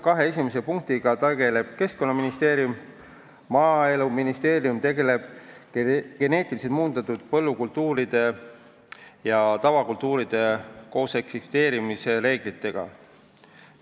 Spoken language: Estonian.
Kahe esimese punktiga tegeleb Keskkonnaministeerium, Maaeluministeerium tegeleb geneetiliselt muundatud põllukultuuride ja tavakultuuride kooseksisteerimise reeglitega.